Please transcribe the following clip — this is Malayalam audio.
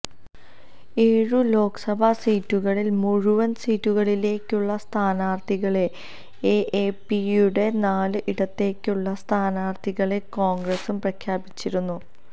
ഏഴു ലോക്സഭാ സീറ്റുകളില് മുഴുവന് സീറ്റുകളിലേക്കുള്ള സ്ഥാനാര്ത്ഥികളെ എഎപിയും നാല് ഇടത്തേയ്ക്കുള്ള സ്ഥാനാര്ത്ഥികളെ കോണ്ഗ്രസും പ്രഖ്യാപിച്ചിരുന്നു